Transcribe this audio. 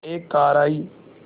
एक कार आई